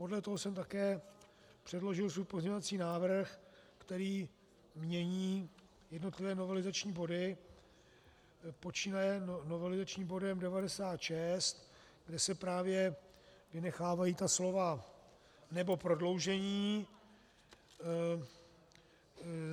Podle toho jsem také předložil svůj pozměňovací návrh, který mění jednotlivé novelizační body počínaje novelizačním bodem 96, kde se právě vynechávají ta slova "nebo prodloužení".